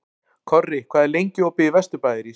Korri, hvað er lengi opið í Vesturbæjarís?